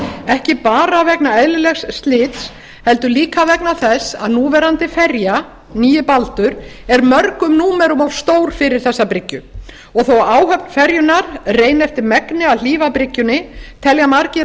ekki bara vegna eðlilegs slits heldur líka vegna þess að núverandi ferja nýi baldur er mörgum númerum of stór fyrir þessa bryggju þó áhöfn ferjunnar reyni eftir megni að hlífa bryggjunni telja margir